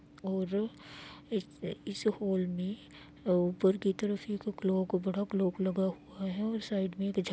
और इस इस हॉल में अ ऊपर की तरफ एक ये जो क्लाक बड़ा क्लाक लगा हुआ है और साइड मे एक झन--